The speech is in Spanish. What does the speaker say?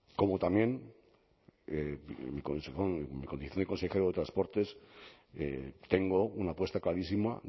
como también y en condición de consejero de transportes tengo una apuesta clarísima